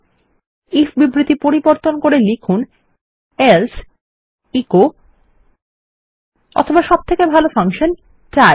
if বিবৃতি পরিবর্তন করে লিখুন এলসে এচো অথবা সবথেকে ভালো ফাংশন হলো ডাই